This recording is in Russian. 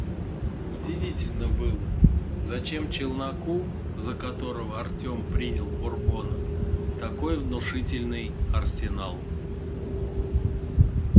удивительно было зачем челноку за которого артем принял бурбона такой внушительный арсенал